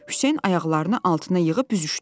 Hüseyn ayaqlarını altına yığıb büzüşdü.